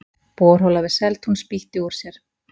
Borhola við Seltún spýtti úr sér